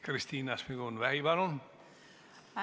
Kristina Šmigun-Vähi, palun!